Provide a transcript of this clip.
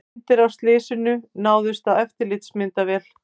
Myndir af slysinu náðust á eftirlitsmyndavél